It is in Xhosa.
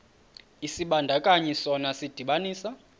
isibandakanyi sona sidibanisa